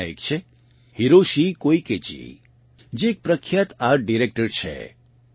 તેમાંના એક છે હિરોશિ કોઇકેજી જે એક પ્રખ્યાત આર્ટ ડિરેક્ટર છે